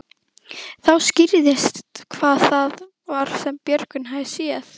Þá skýrðist hvað það var sem Björgvin hafði séð.